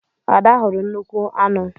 Ada hụrụ nnukwu aṅu.